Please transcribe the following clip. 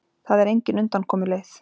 Það er engin undankomuleið.